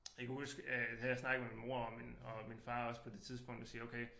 Jeg kan huske øh jeg havde snakket med min mor og min og min far også på det og siger okay